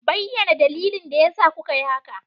Bayyana dalilin da yasa kuka yi haka!